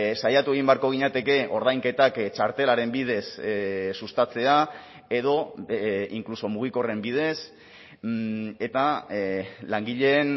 saiatu egin beharko ginateke ordainketak txartelaren bidez sustatzea edo inkluso mugikorren bidez eta langileen